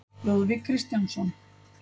Lúðvík Kristjánsson.